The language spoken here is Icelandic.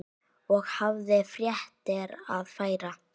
Og hafði fréttir að færa.